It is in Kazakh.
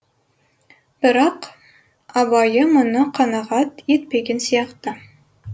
бірақ абайы мұны қанағат етпеген сияқты